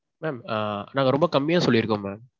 mam நாங்க ரொம்ப கம்மியா சொல்லிருக்கோம் mam.